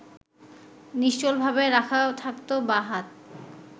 নিশ্চলভাবে রাখা থাকত বাঁ হাত